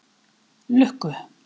Lukku